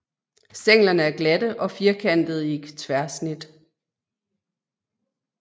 Stænglerne er glatte og firkantede i tværsnit